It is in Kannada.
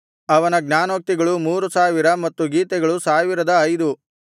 ಅವನ ಜ್ಞಾನೋಕ್ತಿಗಳು ಮೂರು ಸಾವಿರ ಮತ್ತು ಗೀತೆಗಳು ಸಾವಿರದ ಐದು